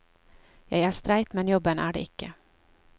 Jeg er streit, men jobben er det ikke.